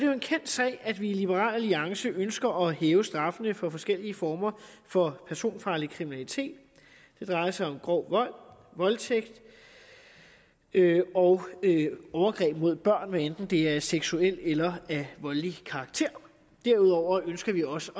jo en kendt sag at vi i liberal alliance ønsker at hæve straffene for forskellige former for personfarlig kriminalitet det drejer sig om grov vold voldtægt og overgreb mod børn hvad enten det er af seksuel eller voldelig karakter derudover ønsker vi også